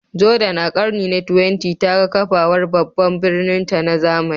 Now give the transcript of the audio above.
Jordan, a ƙarni na 20, ta ga kafawar babban birninta na zamani.